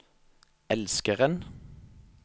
elskeren